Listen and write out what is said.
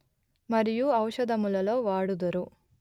మరియు ఔషధములలో వాడుదురు